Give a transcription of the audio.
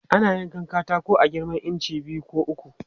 Ana yankan katako a girman inci biyu ko uku.